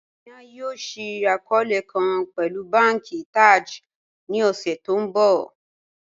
Amina yóò ṣíí akọọlẹ̀ kàn pẹ̀lú bànki Taj ní ọṣẹ̀ tí n bọ